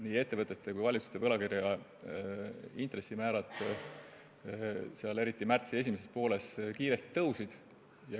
Nii ettevõtete kui ka valitsuste võlakirjade intressimäärad tõusid kiiresti, eriti märtsi esimesel poolel.